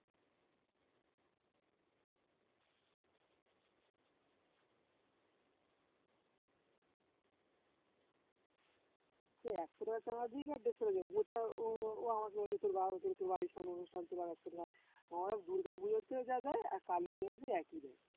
সে একশো টাকা চাঁদা দিক আর দেড়শো টাকা দিক মোচা ও ও আমাকে বলছে তোর বা তোর বাড়ির সামনে অনুষ্ঠান তুই আরো একশো টাকা আমি বললাম দুর্গা পুজোতেও যা দেয় এক কালী পুজোতেও একই দেয়